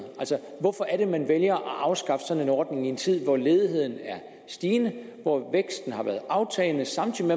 hvorfor er det man vælger at afskaffe sådan en ordning i en tid hvor ledigheden er stigende hvor væksten har været aftagende samtidig